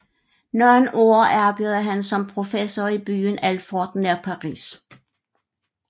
Nogle år arbejdede han som professor i byen Alfort nær Paris